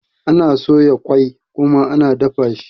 Ana soya ƙoi kuma ana dafa shi.